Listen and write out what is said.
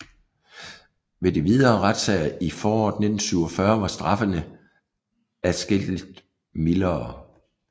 Ved de videre retssager i foråret 1947 var straffene adskillig mildere